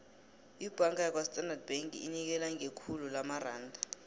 ibhanga yakwastandard bank inikela ngekhulu lamaranda